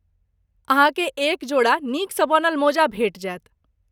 अहाँकेँ एक जोड़ा नीकसँ बनल मोजा भेटि जायत।